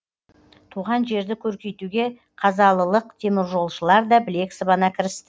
туған жерді көркейтуге қазалылық теміржолшылар да білек сыбана кірісті